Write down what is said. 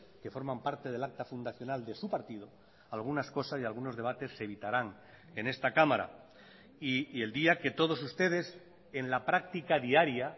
que forman parte del acta fundacional de su partido algunas cosas y algunos debates se evitarán en esta cámara y el día que todos ustedes en la práctica diaria